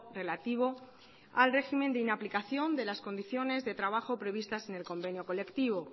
relativo al régimen de inaplicación de las condiciones de trabajo previstas en el convenio colectivo